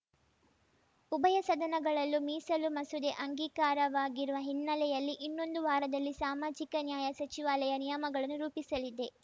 ಉಭಯ ಸದನಗಳಲ್ಲೂ ಮೀಸಲು ಮಸೂದೆ ಅಂಗೀಕಾರವಾಗಿರುವ ಹಿನ್ನೆಲೆಯಲ್ಲಿ ಇನ್ನೊಂದು ವಾರದಲ್ಲಿ ಸಾಮಾಜಿಕ ನ್ಯಾಯ ಸಚಿವಾಲಯ ನಿಯಮಗಳನ್ನು ರೂಪಿಸಲಿದೆ